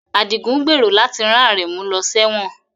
Adigun gbèrò láti rán Aremu lọ sẹ́wọ̀n